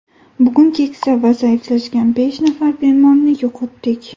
Bugun keksa va zaiflashgan besh nafar bemorni yo‘qotdik.